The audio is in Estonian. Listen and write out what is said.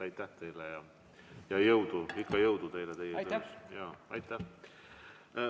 Aitäh ja ikka jõudu teile!